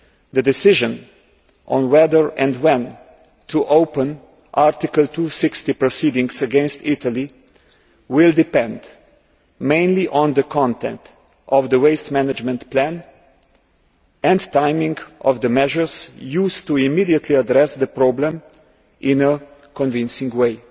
The decision on whether and when to open Article 260 proceedings against Italy will depend mainly on the content of the waste management plan and the timing of the measures used to immediately address the problem in a convincing way.